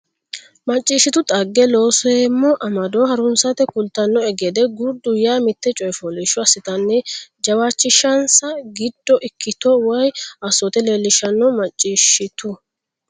macciishshitu dhagge Looseemmo amado haransite kultannohe gede gurdu yaa mitte coy fooliishsho assitanni jawaachishinsa giddo ikkito woy assoote leellishannoho macciishshitu.